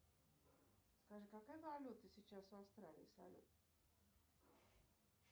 скажи какая валюта сейчас в австралии салют